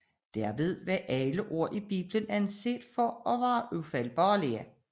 Dermed blev alle ord i Bibelen anset for at være ufejlbarlige